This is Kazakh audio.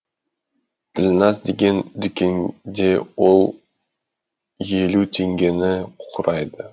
ділназ деген дүкенде ол елу теңгені құрайды